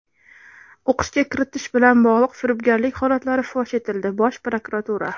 O‘qishga kiritish bilan bog‘liq firibgarlik holatlari fosh etildi – Bosh prokuratura.